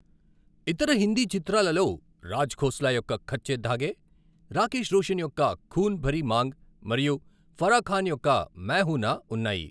ఇతర హిందీ చిత్రాలలో రాజ్ ఖోస్లా యొక్క కచ్చే ధాగే, రాకేశ్ రోషన్ యొక్క ఖూన్ భరీ మాంగ్ మరియు ఫరా ఖాన్ యొక్క మై హూ నా ఉన్నాయి.